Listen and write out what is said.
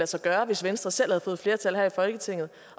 sig gøre hvis venstre selv havde fået flertal her i folketinget